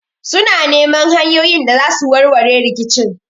Suna neman hanyoyin da zasu warware rikicin